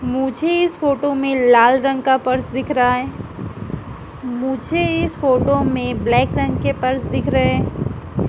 मुझे इस फोटो में लाल रंग का पर्स दिख रहा है मुझे इस फोटो में ब्लैक रंग के पर्स दिख रहें।